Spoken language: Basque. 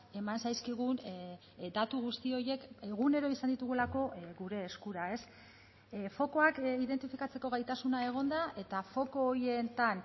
eman zaizkigun datu guzti horiek egunero izan ditugulako gure eskura fokuak identifikatzeko gaitasuna egonda eta foku horietan